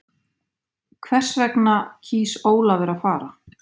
Hvers vegna kýs Ólafur að fara?